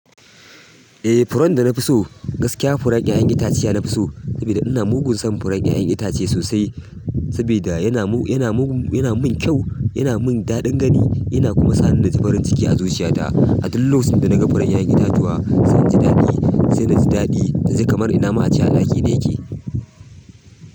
Eh, furen da na fi so gaskiya furar 'ya'yan itace ne na fi so saboda ina mugun son furar 'ya'yan itace sosai. Saboda yana mun kyau, yana mun daɗin gani yana kuma sani da zubar jiki a zuciyata. A duk lokacin da naga fure' 'ya'yan itatuwa se inji daɗi sai na ji daɗi, nji kamar ina ma a ce a ɗaki ɗaya yake.